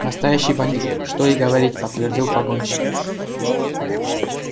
настоящий бандит что и говорить подтвердил погонщик